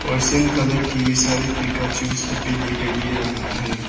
और same colour की सारी पिकाचू सब भी दिखाई दे रहा है।